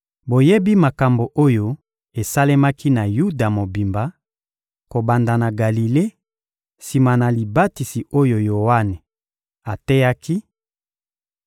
Boyebi makambo oyo esalemaki na Yuda mobimba, kobanda na Galile, sima na libatisi oyo Yoane ateyaki: